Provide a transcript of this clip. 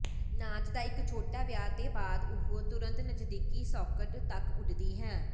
ਨਾਚ ਦਾ ਇੱਕ ਛੋਟਾ ਵਿਆਹ ਦੇ ਬਾਅਦ ਉਹ ਤੁਰੰਤ ਨਜ਼ਦੀਕੀ ਸਾਕਟ ਤੱਕ ਉੱਡਦੀ ਹੈ